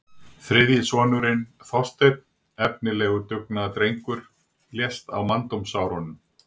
Þriðji sonurinn, Þorsteinn, efnilegur dugnaðardrengur, lést á manndómsárunum.